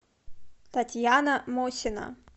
татьяна мосина